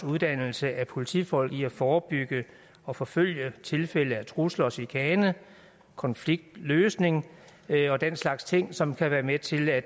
uddannelse af politifolk i at forebygge og forfølge tilfælde af trusler og chikane konfliktløsning og den slags ting som kan være med til at